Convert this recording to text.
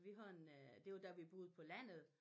Vi har en øh det var da vi boede på landet